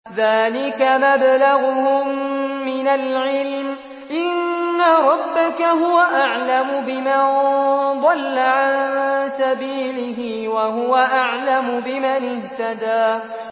ذَٰلِكَ مَبْلَغُهُم مِّنَ الْعِلْمِ ۚ إِنَّ رَبَّكَ هُوَ أَعْلَمُ بِمَن ضَلَّ عَن سَبِيلِهِ وَهُوَ أَعْلَمُ بِمَنِ اهْتَدَىٰ